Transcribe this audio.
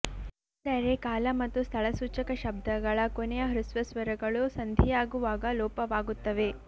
ಅಂದರೆ ಕಾಲ ಮತ್ತು ಸ್ಥಳಸೂಚಕ ಶಬ್ದಗಳ ಕೊನೆಯ ಹ್ರಸ್ವ ಸ್ವರಗಳು ಸಂಧಿಯಾಗುವಾಗ ಲೋಪವಾಗುತ್ತವೆ